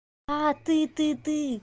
а ты ты ты